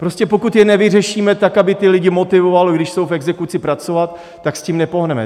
Prostě pokud je nevyřešíme tak, aby ty lidi motivovalo, když jsou v exekuci, pracovat, tak s tím nepohneme.